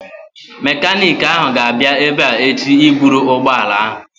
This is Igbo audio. Mekaniiki ahụ ga-abịa ebea echi ịbụrụ ụgbọala ahụ